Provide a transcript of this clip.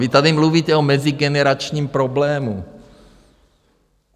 Vy tady mluvíte o mezigeneračním problému.